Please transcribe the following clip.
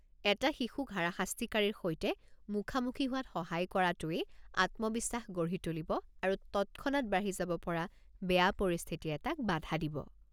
এটা শিশুক হাৰাশাস্তিকাৰীৰ সৈতে মুখামুখি হোৱাত সহায় কৰাতোৱে আত্মবিশ্বাস গঢ়ি তুলিব আৰু তৎক্ষণাত বাঢ়ি যাব পৰা বেয়া পৰিস্থিতি এটাক বাধা দিব।